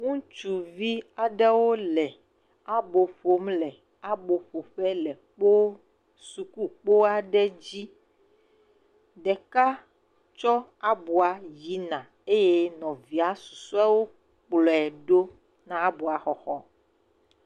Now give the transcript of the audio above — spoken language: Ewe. Ŋutsuvi aɖewo le abo ƒom le aboƒoƒe le kpo sukukpo aɖe dzi. Ɖeka tso abɔa yina eye nɔvia susɔawo kplɔ̃e ɖo na aboa xɔxɔ.